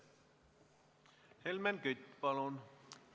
Helmen Kütt, palun!